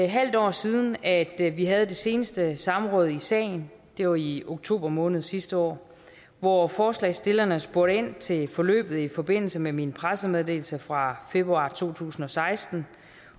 halvt år siden at vi havde det seneste samråd i sagen det var i oktober måned sidste år hvor forslagsstillerne spurgte ind til forløbet i forbindelse med min pressemeddelelse fra februar to tusind og seksten